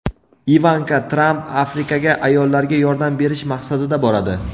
Ivanka Tramp Afrikaga ayollarga yordam berish maqsadida boradi.